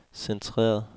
centreret